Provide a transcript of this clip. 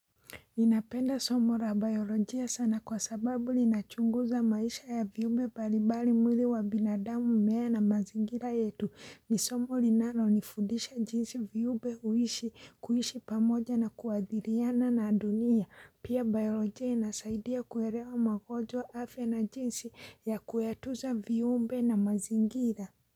Ninapenda somo ra bayolojia sana kwa sababu linachunguza maisha ya viumbe balibali mwili wa binadamu mmea na mazingira yetu ni somo linalo nifudisha jinsi viumbe huishi kuishi pamoja na kuadhiriana na dunia pia bayolojia inasaidia kuelewa magonjwa afya na jinsi ya kuyatuza viumbe na mazingira.